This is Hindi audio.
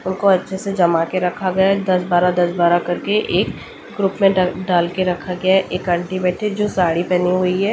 उनको अच्छे से जमा के रखा गया दस बारह दस बारह करके एक ग्रुप में डाल डाल के रखा गया एक आंटी बैठी जो साड़ी पहनी हुई है।